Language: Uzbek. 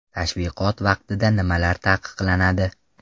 Tashviqot vaqtida nimalar taqiqlanadi?